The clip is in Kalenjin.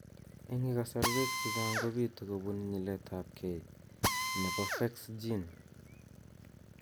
Eng' lkasarwek chechang kobitu kobun nyiletaabge nebo PHEX gene